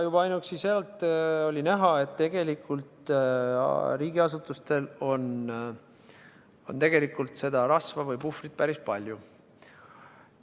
Juba ainuüksi sealt oli näha, et riigiasutustel on tegelikult seda rasva või puhvrit päris palju.